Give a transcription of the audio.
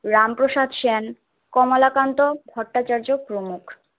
রামপ্রসাদ সেন, কমলাকান্ত ভট্টাচার্য প্রমুখ।